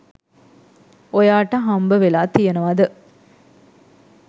ඔයාට හම්බ වෙලා තියෙනවද?